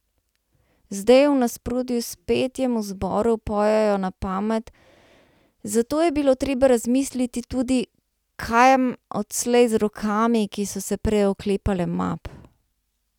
Zdaj v nasprotju s petjem v zboru pojejo na pamet, zato je bilo treba razmisliti tudi, kam odslej z rokami, ki so se prej oklepale map.